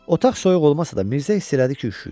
Otaq soyuq olmasa da, Mirzə hiss elədi ki, üşüyür.